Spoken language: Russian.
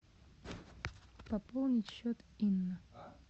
пополнить счет инна